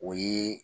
O ye